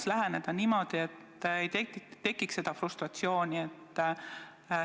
Kuidas läheneda niimoodi, et ei tekiks seda frustratsiooni?